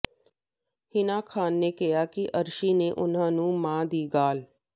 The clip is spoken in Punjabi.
ਹਿਨਾ ਖਾਨ ਨੇ ਕਿਹਾ ਕਿ ਅਰਸ਼ੀ ਨੇ ਉਨ੍ਹਾਂ ਨੂੰ ਮਾਂ ਦੀ ਗਾਲ਼